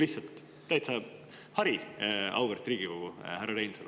Lihtsalt oleks täitsa hariv, auväärt härra Reinsalu.